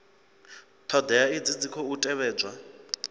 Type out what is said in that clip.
thodea idzi dzi khou tevhedzwa